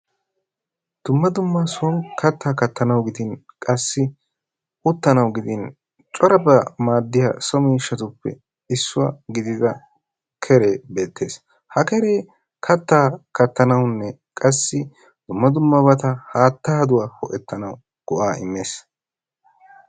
dumma dumma son kattaa kattanawu gidin uttanawu gidin corabaa kattanawu maadiyabatuppe issuwa gidida keree beetees. ha keree kataa kattanawunne qassi haattaaduwa ho'ettanawu maadees.